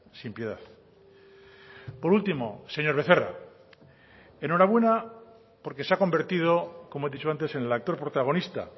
sin piedad por último señor becerra enhorabuena porque se ha convertido como he dicho antes en el actor protagonista